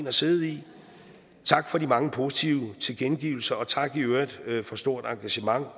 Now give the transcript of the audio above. at sidde i tak for de mange positive tilkendegivelser og tak i øvrigt for stort engagement